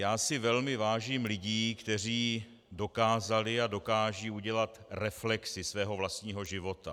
Já si velmi vážím lidí, kteří dokázali a dokážou udělat reflexi svého vlastního života.